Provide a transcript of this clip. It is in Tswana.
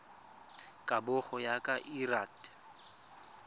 kabo go ya ka lrad